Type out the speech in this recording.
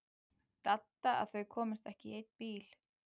Dadda að þau komust ekki í einn bíl.